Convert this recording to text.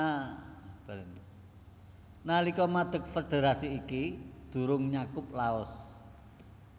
Nalika madeg federasi iki durung nyakup Laos